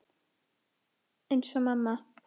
Eins og mamma.